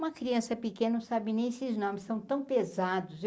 Uma criança pequena não sabe nem esses nomes, são tão pesados. eu